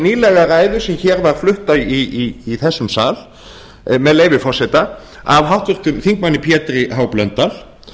nýlega ræðu sem hér var flutt í þessum sal með leyfi forseta af háttvirtum þingmanni pétri h blöndal